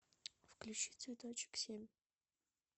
включи цветочек семь